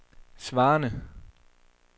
svarende